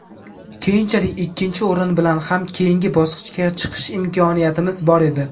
Keyinchalik ikkinchi o‘rin bilan ham keyingi bosqichga chiqish imkoniyatimiz bor edi.